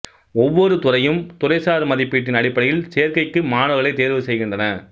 ஒவ்வொரு துறையும் துறைசார் மதிப்பீட்டின் அடிப்படையில் சேர்க்கைக்கு மாணவர்களைத் தேர்வுசெய்கின்றன